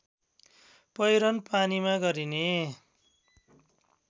पहिरन पानीमा गरिने